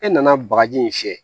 E nana bagaji in fiyɛ